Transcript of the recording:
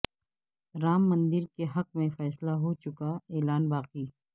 رام مندر کے حق میں فیصلہ ہو چکا اعلان باقی